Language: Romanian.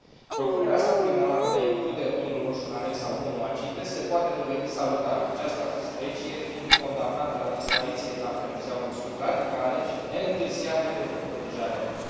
Propunerea statului Monaco de a include tonul roșu în anexa 1 a CITES se poate dovedi salutară, această specie fiind condamnată la dispariție dacă nu se iau măsuri radicale și neîntârziate pentru protejarea ei.